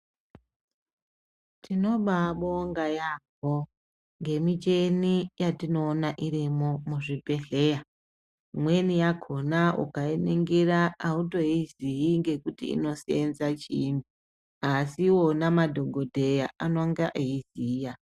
Tinobaa bonga yaampo ngemicheni yatinoona irimwo muzvibhedhleya imweni yakhona ulainingira autoizii ngekuti inosenza vhiini asi iwona madhokodheya anenga eiziya.